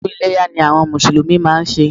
Odún Iléyá ni àwon mùsùlùmí máa n se